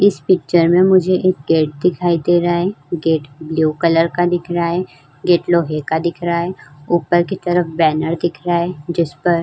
इस पिक्चर में मुझे एक गेट दिखाई दे रहा है। गेट ब्लू कलर का दिख रहा है। गेट लोहे का दिख रहा है। ऊपर की तरफ बैनर दिख रहा है। जिस पर --